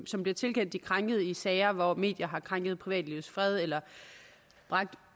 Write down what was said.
som bliver tilkendt de krænkede i sager hvor medier har krænket privatlivets fred eller bragt